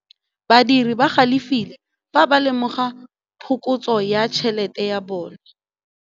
Badiri ba galefile fa ba lemoga phokotsô ya tšhelête ya bone.